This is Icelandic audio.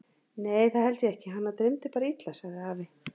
Nei það held ég ekki, hana dreymdi bara illa sagði afi.